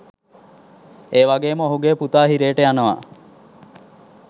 ඒවගේම ඔහුගේ පුතා හිරේට යනවා.